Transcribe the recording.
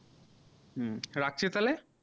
হম রাখছি তালে